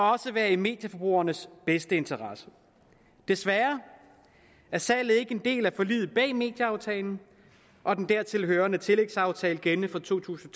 også være i medieforbrugernes bedste interesse desværre er salget ikke en del af forliget bag medieaftalen og den dertil hørende tillægsaftale gældende for to tusind